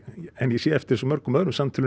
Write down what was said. ég sé eftir mörgum öðrum samtölum